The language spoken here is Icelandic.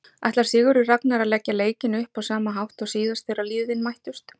Ætlar Sigurður Ragnar að leggja leikinn upp á sama hátt og síðast þegar liðin mættust?